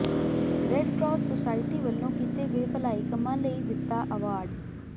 red cross society ਵੱਲੋਂ ਕੀਤੇ ਗਏ ਭਲਾਈ ਕੰਮਾਂ ਲਈ ਦਿੱਤਾ ਅਵਾਰਡ